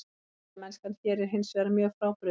Spilamennskan hér er hinsvegar mjög frábrugðin.